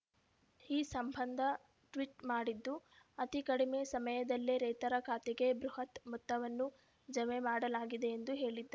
ಈ ಸಂಬಂಧ ಟ್ವೀಟ್ ಮಾಡಿದ್ದು ಅತಿ ಕಡಿಮೆ ಸಮಯದಲ್ಲೇ ರೈತರ ಖಾತೆಗೆ ಬೃಹತ್ ಮೊತ್ತವನ್ನು ಜಮೆ ಮಾಡಲಾಗಿದೆ ಎಂದು ಹೇಳಿದ್ದಾ